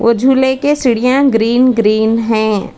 झूले के सीढ़ियां ग्रीन ग्रीन हैं।